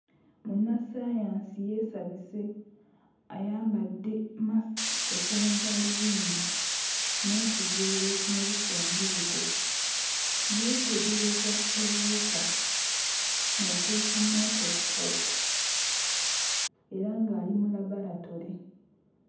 Munnassaayansi yeesabise ayambadde mmasiki kw'ossa ne ggaalubindi n'ekiveera ekimubisse omubiri gwe. Yeetegereza obuwuka ng'akozesa microscope era ng'ali mu labalatole.